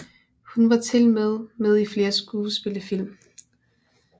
Hun var tilmed med i flere spillefilm